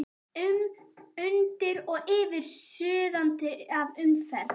um, undir og yfir, suðandi af umferð.